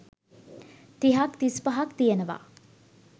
තිහක්‌ තිස්‌පහක්‌ තියෙනවා.